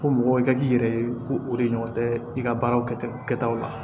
Ko mɔgɔ i ka k'i yɛrɛ ye ko o de ɲɔgɔn tɛ i ka baaraw kɛtaw la